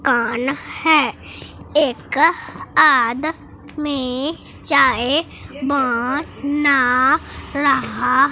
कान है एक आदमी चाय ब ना रहा--